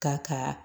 Ka ka